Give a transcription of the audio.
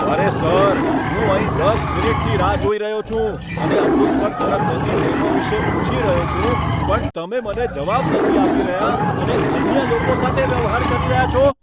અરે સર! હું અહીં દસ મિનિટથી રાહ જોઈ રહ્યો છું અને અમૃતસર તરફ જતી ટ્રેનો વિશે પૂછી રહ્યો છું પણ તમે મને જવાબ નથી આપી રહ્યા અને અન્ય લોકો સાથે વ્યવહાર કરી રહ્યા છો.